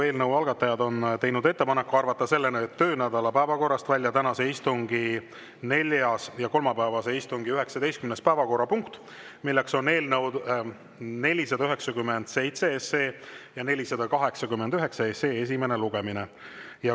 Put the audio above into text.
Eelnõu algatajad on teinud ettepaneku arvata selle töönädala päevakorrast välja tänase istungi neljas ja kolmapäevase istungi 19. päevakorrapunkt, milleks on eelnõude 497 ja 489 esimene lugemine.